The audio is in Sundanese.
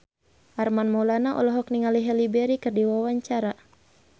Armand Maulana olohok ningali Halle Berry keur diwawancara